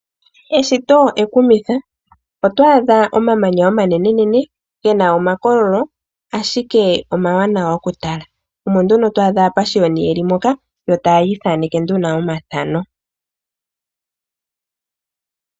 Eshito ekumithi otwaadha omamanya omanenenene ge na omakololo ashike omawanawa okutala omo nduno twaadha aapashiyoni yeli moka yo taya ithaneke nduno omathano.